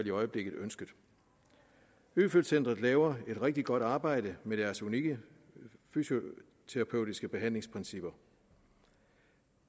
i øjeblikket ønsket øfeldt centret laver et rigtig godt arbejde med deres unikke fysioterapeutiske behandlingsprincipper